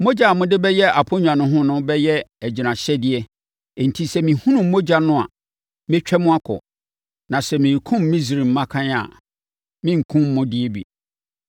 Mogya a mode bɛyɛ aponnwa no ho no bɛyɛ agyinahyɛdeɛ enti, sɛ mehunu mogya no a, mɛtwam akɔ, na sɛ merekum Misraim mmakan a, merenkum mo deɛ bi.